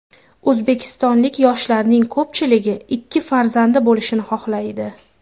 O‘zbekistonlik yoshlarning ko‘pchiligi ikki farzandi bo‘lishini xohlaydi.